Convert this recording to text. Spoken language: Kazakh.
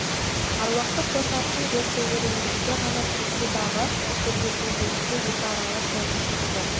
аруақты қос аршын жер тереңдікке ғана көмсе дағы жер бетіне дейінгі екі аралық жолдың шегі жоқ